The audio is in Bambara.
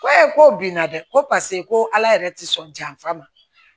Ko e ko bina dɛ ko paseke ko ala yɛrɛ ti sɔn janfa ma